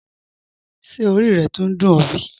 Ṣé ọ̀rí rẹ́ túńń dùn ọ̀ bí?